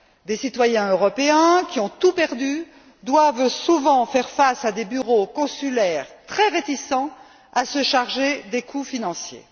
Des citoyens européens qui ont tout perdu doivent souvent faire face à des bureaux consulaires très réticents à se charger des coûts financiers.